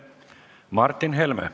Martin Helme.